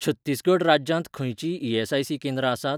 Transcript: छत्तीसगढ राज्यांत खंयचींय ईएसआयसी केंद्रां आसात?